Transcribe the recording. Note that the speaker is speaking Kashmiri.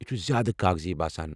یہِ چھُ زیٛادٕ کاغذی باسان